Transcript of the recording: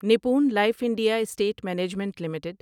Nippon life India asset management limited